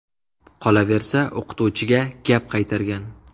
Qolaversa, o‘qituvchiga gap qaytargan.